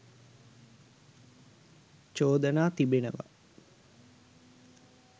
චෝදනා තිබෙනවා.